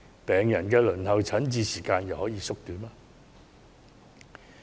病人的輪候診治時間又可以縮短嗎？